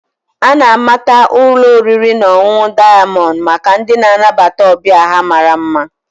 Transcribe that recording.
A na-amata ụlọ oriri na ọṅụṅụ Dayamond maka ndị na-anabata ọbịa ha mara mma